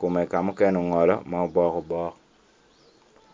kome ka mokene ongolo ma obok obok.